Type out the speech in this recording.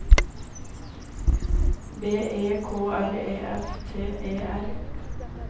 B E K R E F T E R